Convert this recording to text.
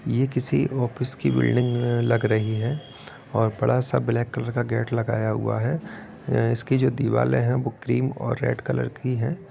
ये किसी ऑफिस की बिल्डिंग लग रही है और बड़ा-सा ब्लैक कलर का गेट लगाया हुआ है इसकी जो दीवाले है वो क्रीम और रेड कलर की है।